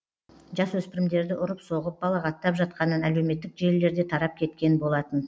жасөспірімдерді ұрып соғып балағаттап жатқанын әлеуметтік желілерде тарап кеткен болатын